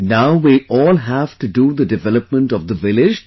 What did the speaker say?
Now we all have to do the development of the village together